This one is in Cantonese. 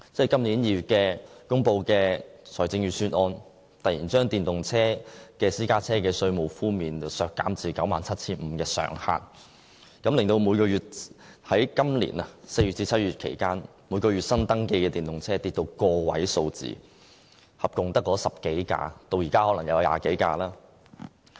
今年2月公布的財政預算案突然將電動私家車首次登記稅的稅務寬免上限削減至 97,500 元，令今年4月至7月期間每月新登記的電動車跌至個位數字，一共只有10多部，可能至今有20多部。